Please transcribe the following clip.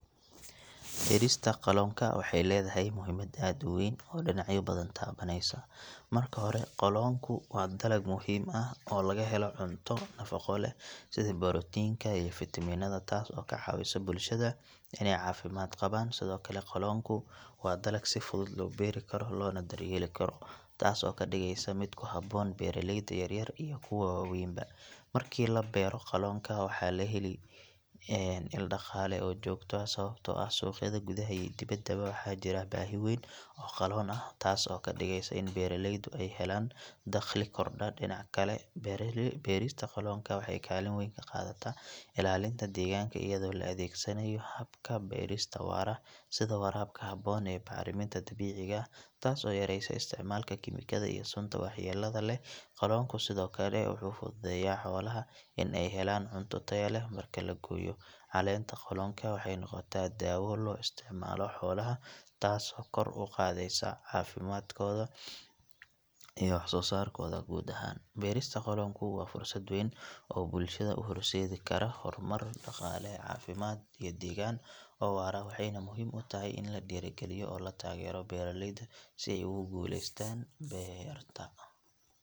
Beerista qaloonka waxay leedahay muhiimad aad u weyn oo dhinacyo badan taabanaysa marka hore qaloonku waa dalag muhiim ah oo laga helo cunto nafaqo leh sida borotiinka iyo fitamiinada taas oo ka caawisa bulshada inay caafimaad qabaan sidoo kale qaloonku waa dalag si fudud loo beeri karo loona daryeeli karo taas oo ka dhigaysa mid ku habboon beeraleyda yaryar iyo kuwa waaweynba marka la beero qaloonka waxaa la helaa il dhaqaale oo joogto ah sababtoo ah suuqyada gudaha iyo dibaddaba waxaa jira baahi weyn oo qaloon ah taas oo ka dhigaysa in beeraleydu ay helaan dakhli kordha dhinaca kale beerista qaloonka waxay kaalin weyn ka qaadataa ilaalinta deegaanka iyadoo la adeegsanayo hababka beerista waara sida waraabka habboon iyo bacriminta dabiiciga ah taas oo yareysa isticmaalka kiimikada iyo sunta waxyeellada leh qaloonku sidoo kale wuxuu fududeeyaa xoolaha in ay helaan cunto tayo leh marka la gooyo caleenta qaloonka waxay noqotaa daawo loo isticmaalo xoolaha taasoo kor u qaadaysa caafimaadkooda iyo wax soo saarkooda guud ahaan beerista qaloonka waa fursad weyn oo bulshada u horseedi karta horumar dhaqaale, caafimaad iyo deegaan oo waara waxayna muhiim u tahay in la dhiirrigeliyo oo la taageero beeraleyda si ay ugu guuleystaan beerta.